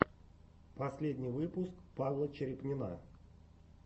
последний выпуск павла черепнина